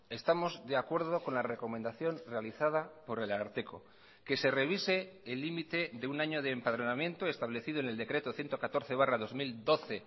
estamos de acuerdo con la recomendación realizada por el ararteko que se revise el límite de un año de empadronamiento establecido en el decreto ciento catorce barra dos mil doce